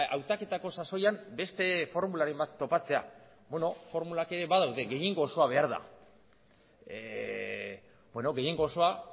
ba hautaketako sasoian beste formularen bat topatzea beno formulak ere badaude gehiengo osoa behar da beno gehiengo osoa